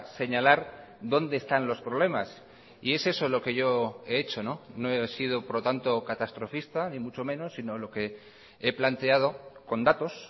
señalar donde están los problemas y es eso lo que yo he hecho no he sido por lo tanto catastrofista ni mucho menos sino lo que he planteado con datos